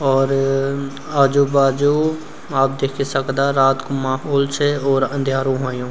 और आजू बाजू आप देखि सकदा रात कु माहोल छे और अंध्यारू ह्वोंयू।